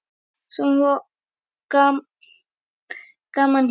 Svona var gaman hjá okkur.